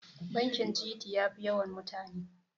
bakin gt ya Fi yawan mutane